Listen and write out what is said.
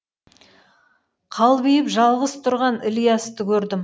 қалбиып жалғыз тұрған ілиясты көрдім